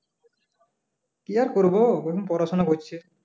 কি আর করবো পড়াশোনা হচ্ছে